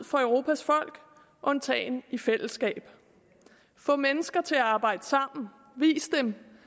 for europas folk undtagen i fællesskab få mennesker til at arbejde sammen vis dem